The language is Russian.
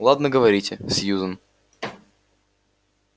ладно говорите сьюзен